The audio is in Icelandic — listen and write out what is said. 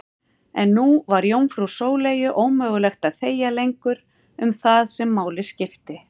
En nú var jómfrú Sóleyju ómögulegt að þegja lengur um það sem máli skipti.